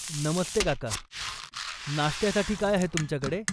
नमस्ते काका, नाश्त्यासाठी काय आहे तुमच्याकडे?